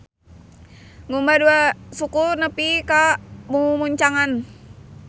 Ngumbah dua suku nepi ka mumuncangan.